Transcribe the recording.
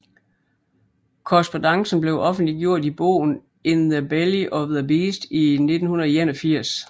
Korrespondancen blev offentliggjort i bogen In the belly of the beast i 1981